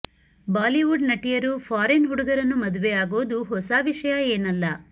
Bollywood ನಟಿಯರು foreign ಹುಡುಗರನ್ನು ಮದುವೆ ಆಗೋದು ಹೊಸ ವಿಷಯ ಏನಲ್ಲ